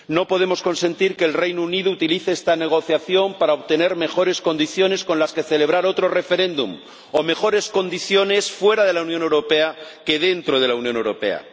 No podemos consentir que el Reino Unido utilice esta negociación para obtener mejores condiciones con las que celebrar otro referéndum, o mejores condiciones fuera de la Unión Europea que dentro de la Unión Europea.